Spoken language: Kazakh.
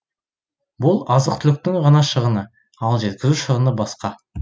бұл азық түліктің ғана шығыны ал жеткізу шығыны басқа